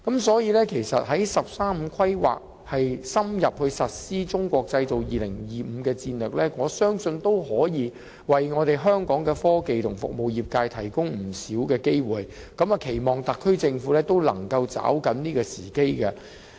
所以，在"十三五"規劃深入實施"中國製造 2025" 戰略的情況下，我相信可為香港的科技和服務業界提供不少機會，期望特區政府能夠抓緊時機。